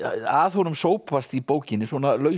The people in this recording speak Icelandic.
að honum sópast í bókinni svona